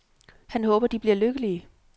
Han håber de bliver lykkelige.